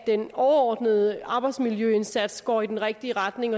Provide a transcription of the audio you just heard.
den overordnede arbejdsmiljøindsats går i den rigtige retning